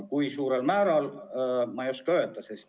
Kui suurel määral, seda ma ei oska öelda.